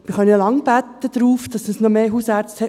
Wir können noch lange beten, dass es genug Hausärzte gibt.